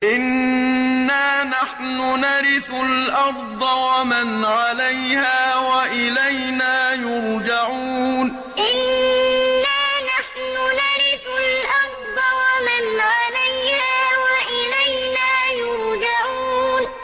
إِنَّا نَحْنُ نَرِثُ الْأَرْضَ وَمَنْ عَلَيْهَا وَإِلَيْنَا يُرْجَعُونَ إِنَّا نَحْنُ نَرِثُ الْأَرْضَ وَمَنْ عَلَيْهَا وَإِلَيْنَا يُرْجَعُونَ